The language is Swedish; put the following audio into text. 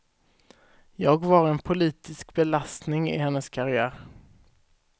Jag var en politisk belastning i hennes karriär.